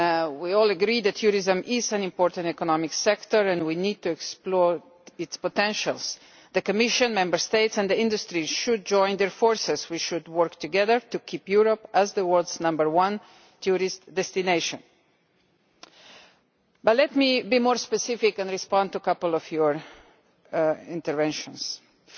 We all agree that tourism is an important economic sector and we need to explore its potential. The Commission, Member States and the industry should join forces and work together to keep Europe as the world's number one tourist destination. Let me be more specific now and respond to a couple of the points made.